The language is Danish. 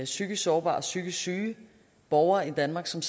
psykisk sårbare og psykisk syge borgere i danmark som